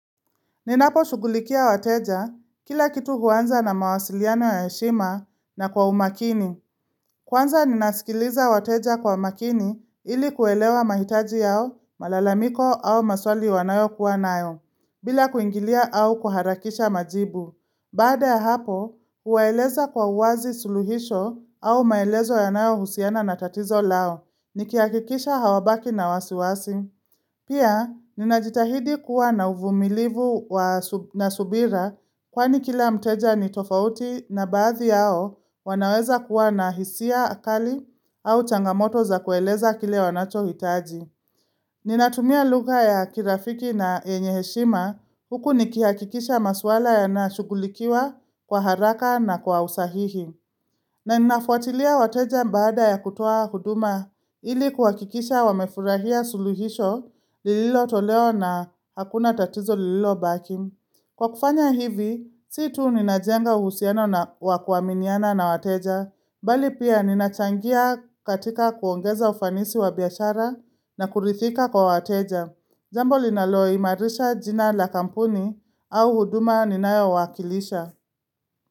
Ninaposhugulikia wateja kila kitu huanza na mawasiliano ya heshima na kwa umakini. Kwanza ninasikiliza wateja kwa makini ili kuelewa mahitaji yao, malalamiko au maswali wanayokuwa nayo, bila kuingilia au kuharakisha majibu. Baada ya hapo, huwaeleza kwa uwazi suluhisho au maelezo yanayo husiana na tatizo lao. Nikiakikisha hawabaki na wasiwasi. Pia, ninajitahidi kuwa na uvumilivu na subira kwani kila mteja ni tofauti na baadhi yao wanaweza kuwa na hisia akali au changamoto za kueleza kile wanachohitaji. Ninatumia lugha ya kirafiki na yenye heshima huku nikihakikisha maswala yanashugulikiwa kwa haraka na kwa usahihi. Na ninafuatilia wateja mbaada ya kutoa huduma ili kuhakikisha wamefurahia suluhisho lililotoleo na hakuna tatizo lililobaki. Kwa kufanya hivi, si tu ninajenga uhusiano na wa kuaminiana na wateja. Bali pia ninachangia katika kuongeza ufanisi wa biashara na kuridhika kwa wateja. Jambo linaloimarisha jina la kampuni au huduma ninayo wakilisha.